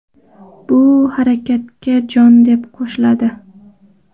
Bu harakatga jon, deb qo‘shiladi.